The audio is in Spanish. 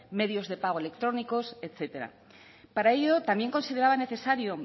medios de pago electrónicos etcétera para ello también consideraba necesario